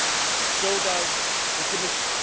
and so does the Commission.